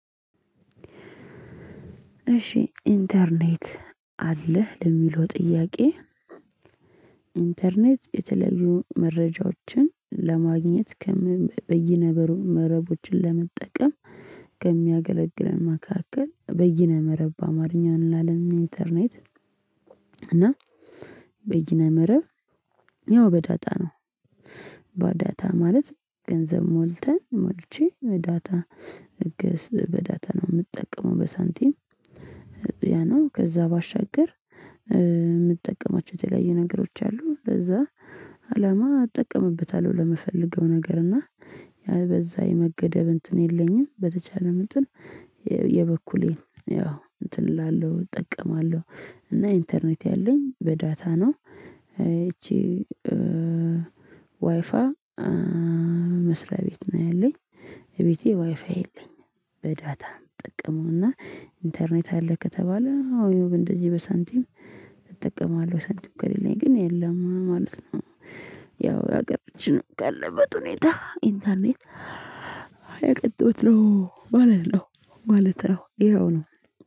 እሺ ኢንተርኔት አለህ ለሚለው ጥያቄ? ኢንተርኔት የተለዩ መረጃዎችን ለማግኘት በየነመረብ መረቦችን ለመጠቀም ከሚያገለግለን መካከል በይነ መረብ አማርኛ እንላለን ኢንተርኔት እንተርኔት። እና በየነ መረብ ያው በዳታ ነው። ማለት ገንዘብ ሞልተን ሞልቼ በዳታ እገስ በዳታ ነው የምጠቀመው በሳንቲም። ያ ነው ከዛ ባሻገር የምትጠቀማቸው የተለያዩ ነገሮች አሉ ለዛ አላማ እጠቀምበታለሁ። ለመፈለገው ነገር እና ያህል በዛ የመገደብ እንትን የለኝም በተቻለ ምንጥል የበኩሌን ያው እንትን እላለሁ እጠቀማለሁ። እና ኢንተርኔት ያለኝ በዳታ ነው። ይቺ ዋይፋ መስሪያ ቤት ነው ያለኝ። ቤቴ ዋይፋ የለኝም። በዳታ ጠቀመውና ኢንተርኔት አለ ከተባለ አዎ እንደዚህ በሳንቲም እጠቀማለሁ ሳንቲም ከሌለኝ ግን የለም ማለት ነው። ያው ሀገሮችን ጋር አለበት ሁኔታ ኢንተርኔት ማለት ነው ማለት ነው ይኸው ነው።